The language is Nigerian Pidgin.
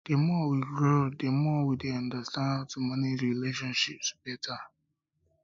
the more we grow the grow the more we dey understand how to manage relationships better